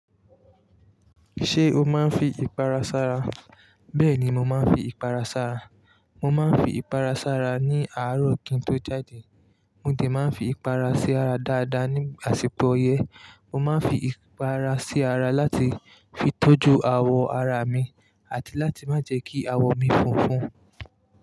Ṣé o máa ń fi ìpara sara? Bẹ́ẹ̀ni mo máa ń fi ìpara sara. Mo máa ń fi ìpara sara ní àárọ̀ kín tó jáde. Mo de máa ń fi ìpara sí ara dáadáa ní àsìkò ọyẹ́. Mo máa ń fi ìpara sí ara láti fi tọ́jú àwọ̀ ara mi àti láti má jẹ́ kí àwọ̀ mi funfun.